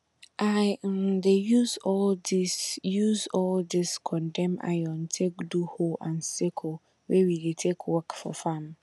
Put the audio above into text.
i um dey use all dis use all dis condemn iron take do hoe and sickle wey we dey take work for farm